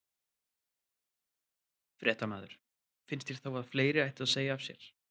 Fréttamaður: Finnst þér þá að fleiri ættu að segja af sér?